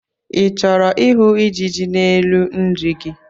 I chọrọ ịhụ ijiji n'elu nri gị?